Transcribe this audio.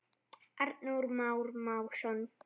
Arnór Már Másson.